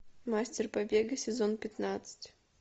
мастер побега сезон пятнадцать